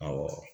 Awɔ